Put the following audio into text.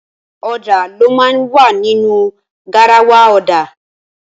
Ọ̀dà ló máa ń wà nínu garawa ọ̀dà.